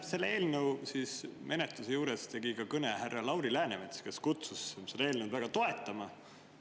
Selle eelnõu menetluse juures tegi ka kõne härra Lauri Läänemets, kes kutsus seda eelnõu toetama.